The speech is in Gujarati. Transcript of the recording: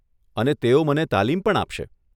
અને તેઓ મને તાલીમ પણ આપશે.